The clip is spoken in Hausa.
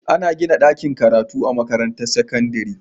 Ana gina dakin karatu a makarantar sakandari